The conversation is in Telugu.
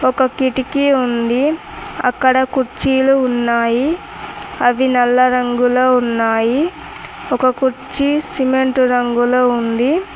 ఒక కిటికీ ఉంది అక్కడ కుర్చీలు ఉన్నాయి అవి నల్ల రంగులో ఉన్నాయి ఒక కుర్చీ సిమెంటు రంగులో ఉంది.